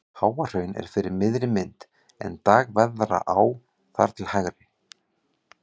Háahraun er fyrir miðri mynd en Dagverðará þar til hægri.